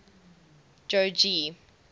jogee